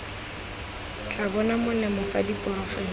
tla bonang molemo fa diporofense